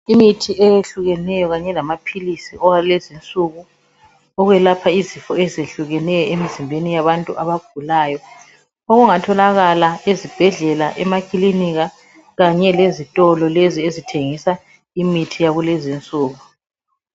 Imithi eyehlukeneyo kanye lamaphilisi akulezi insuku okwelapha izifo ezehlukeneyo emizimbeni yabantu abagulayo. Okungatholakala ezibhedlela emakilinika kanye lezitolo lezi ezithengisa imithi yakulezi insuku.